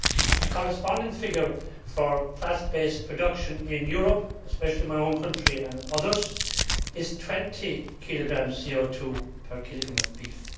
The corresponding figure for grass based production in Europe, especially in my own country and others, is 20 kilograms of CO 2 per kilogram of beef.